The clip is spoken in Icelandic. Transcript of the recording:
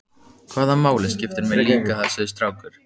Hvaða máli skiptir mig líka þessi strákur?